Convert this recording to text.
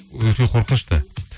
өте қорқынышты